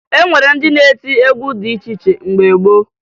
E nwere ndị na-eti egwu dị iche iche mgbe gboo